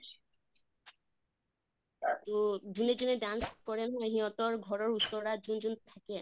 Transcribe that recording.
তʼ যোনে যোনে dance কৰে নহয় সিহঁতৰ ঘৰৰ ওচৰাত যোন যোন থাকে